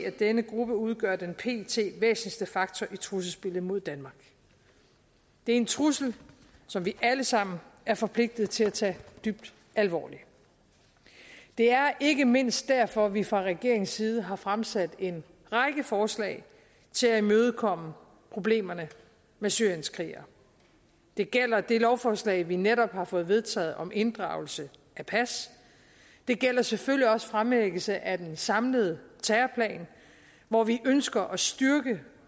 at denne gruppe udgør den pt væsentligste faktor i trusselsbilledet mod danmark det er en trussel som vi alle sammen er forpligtet til at tage dybt alvorligt det er ikke mindst derfor at vi fra regeringens side har fremsat en række forslag til at imødekomme problemerne med syrienskrigere det gælder det lovforslag vi netop har fået vedtaget om inddragelse af pas det gælder selvfølgelig også fremlæggelse af den samlede terrorplan hvor vi ønsker at styrke